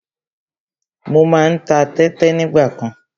Mo má ń ta tẹ́tẹ nígbàkan.